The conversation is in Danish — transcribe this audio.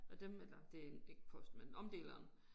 Og dem eller det ikke posten men omdeleren